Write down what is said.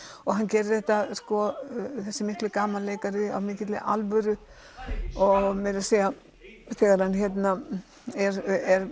og hann gerir þetta þessi mikli gamanleikari af mikilli alvöru og meira að segja þegar hann er